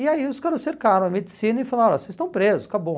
E aí os caras cercaram a medicina e falaram, olha, vocês estão presos, acabou.